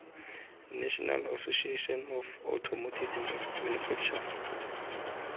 national association of automotive manufacturers